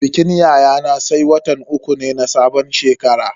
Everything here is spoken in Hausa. Bikin yayana sai watan uku ne na sabon shekara.